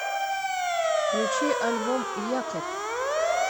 включи альбом якорь